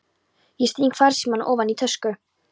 Ég sting farsímanum ofan í tösku.